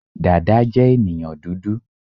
Dada je ènìyàn dúdú